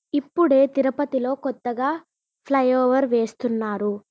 ఇప్పుడే తిరుపతి లో కొత్తగా ఫ్లై ఓవర్ వేస్తున్నారు.